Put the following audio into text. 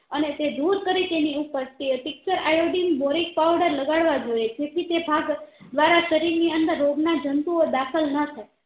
અને તે દૂર કરી તેની ઉપર tincture iodine boric powder લગાડ વા જોઈએ જેથી તે ભાગ દ્વારા શરીર ની અંદર રોગ ના જંતુઓ દાખલ નથાય